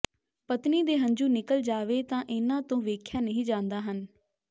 ਪਤਨੀ ਦੇ ਹੰਝੂ ਨਿਕਲ ਜਾਵੇ ਤਾਂ ਇਨ੍ਹਾਂ ਤੋਂ ਵੇਖਿਆ ਨਹੀਂ ਜਾਂਦਾ ਹਨ